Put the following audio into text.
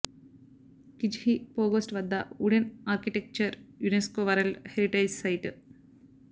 Kizhi Pogost వద్ద wooden architecture UNESCO world heritage site